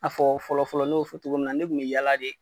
A fɔ fɔlɔfɔlɔ ne y'o fɔ cogo min na ne kunbi yala de.